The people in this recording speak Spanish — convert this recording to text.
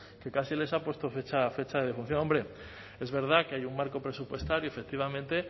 que casi les ha puesto fecha de defunción hombre es verdad que hay un marco presupuestario efectivamente